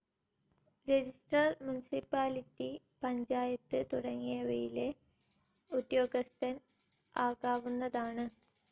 Registrar municipality, panchayat, തുടങ്ങിയവയിലെ ഉദ്യോഗസ്ഥൻ ആകാവുന്നതാണ്.